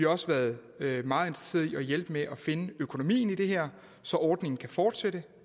også været meget interesseret i at hjælpe med at finde økonomien i det her så ordningen kan fortsætte